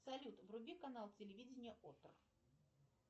салют вруби канал телевидения отто